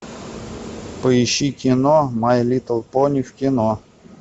поищи кино май литл пони в кино